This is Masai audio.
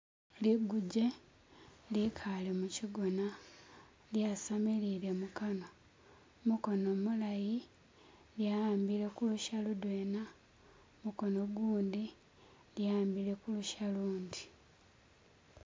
Liguje likale mushigona lyasamilile mukanwa gumukono gumulayi lyawambile kulusha ludwena gumukono ugundi lyawambile kulusha ulundi.